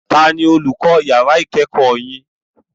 Tani olùkọ́ yàrá ìkẹ́kọ̀ọ́ yin?